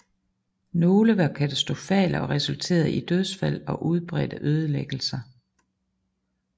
Nogle var katastrofale og resulterede i dødsfald og udbredte ødelæggelser